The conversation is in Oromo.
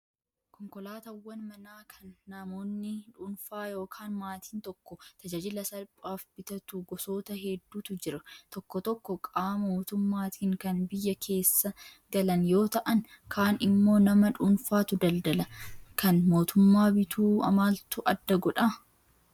Konkolaataawwan manaa kan namoonni dhuunfaa yookaan maatiin tokko tajaajila salphaaf bitatu gosoota hedduutu jiru. Tokko tokko qaama mootummaatiin kan biyya keessa galan yoo ta'an kaan immoo nama dhuunfaatu daldala. Kan mootummaa bituu maaltu adda godhaa?